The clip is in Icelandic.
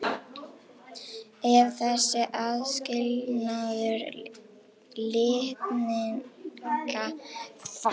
Ef þessi aðskilnaður litninga mistekst verða til gallaðar kynfrumur.